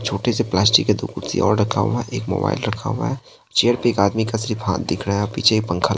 छोटे से प्लास्टिक के दो कुर्सी और रक्खा हुआ हे एक मोबाइल रखा हुआ है चेयर पे एक आदमी का सिर्फ हाथ दिख रहा हे पीछे एक पंखा --